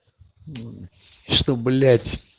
что блять